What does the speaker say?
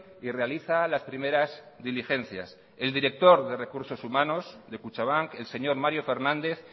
y realiza las primeras diligencias el director de recursos humanos de kutxabank el señor mario fernández